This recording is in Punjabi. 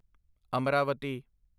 ਅਮਰਾਵਤੀ